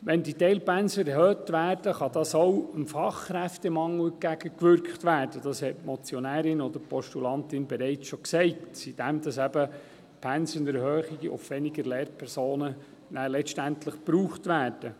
Wenn die Teilpensen erhöht werden, kann auch dem Fachkräftemangel entgegengewirkt werden – dies hat die Motionärin oder Postulantin bereits gesagt –, indem eben durch die Pensenerhöhung letztendlich weniger Lehrpersonen gebraucht werden.